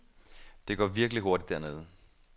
Det går virkelig hurtigt dernede.